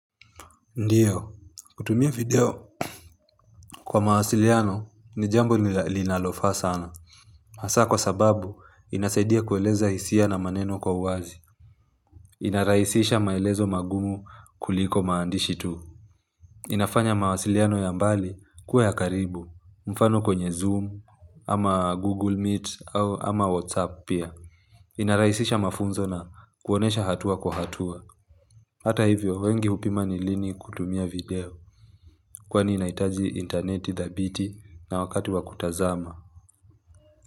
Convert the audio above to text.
Ndiyo, kutumia video kwa mawasiliano ni jambo linalofaa sana hasa kwa sababu inasaidia kueleza hisia na maneno kwa uwazi inarahisisha maelezo magumu kuliko maandishi tu inafanya mawasiliano ya mbali kuwe ya karibu mfano kwenye zoom, ama google meet, ama whatsapp pia inarahisisha mafunzo na kuonyesha hatua kwa hatua Hata hivyo, wengi hupima ni lini kutumia video Kwani inahitaji interneti dhabiti na wakati wa kutazama.